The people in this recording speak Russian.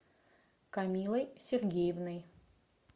камилой сергеевной